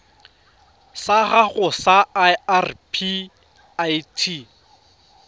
sa gago sa irp it